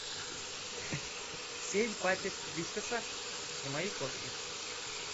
семь пачек вискаса для моей кошки